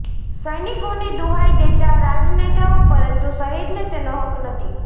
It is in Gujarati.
સૈનિકોની દુહાઈ દેતા રાજનેતાઓ પરંતુ શહીદને તેનો હક્ક નહીં